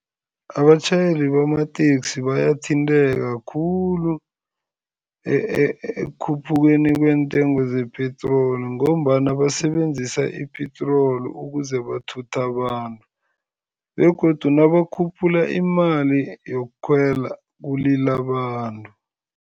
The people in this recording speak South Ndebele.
Abatjhayeli bamateksi bayathinteka khulu ekukhuphukeni kweentengo zepitroli ngombana basebenzisa ipetroli ukuze bathuthe abantu begodu nabakhuphula imali yokukhwela, kulila abantu.